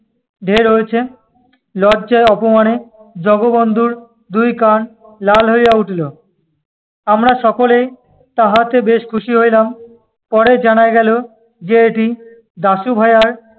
ঢের হয়েছে। লজ্জায় অপমানে জগবন্ধুর দুই কান লাল হ‍ইয়া উঠিল। আমরা সকলেই তাহাতে বেশ খুশি হ‍ইলাম। পরে জানা গেল যে এটি দাশুভায়ার